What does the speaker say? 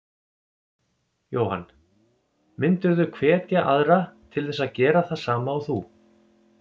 Jóhann: Myndirðu hvetja aðra til þess að gera það sama og þú?